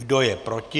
Kdo je proti?